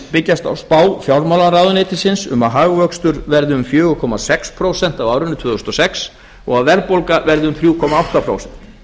byggjast á spá fjármálaráðuneytisins um að hagvöxtur verði um fjóra komma sex prósent á árinu tvö þúsund og sex og að verðbólga verði um þrjú komma átta prósent